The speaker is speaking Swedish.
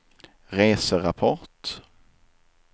reserapport